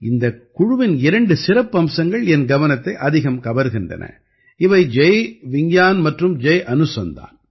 இந்தக் குழுவின் இரண்டு சிறப்பம்சங்கள் என் கவனத்தை அதிகம் கவர்கின்றன இவை ஜய் விஞ்ஞான் மற்றும் ஜய் அனுசந்தான்